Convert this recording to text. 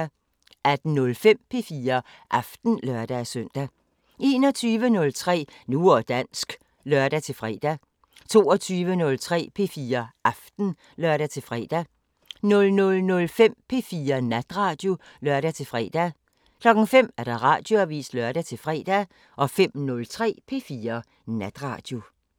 18:05: P4 Aften (lør-søn) 21:03: Nu og dansk (lør-fre) 22:03: P4 Aften (lør-fre) 00:05: P4 Natradio (lør-fre) 05:00: Radioavisen (lør-fre) 05:03: P4 Natradio